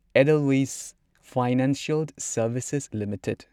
Edelweiss Financial Services limited